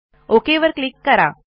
okay वर click करा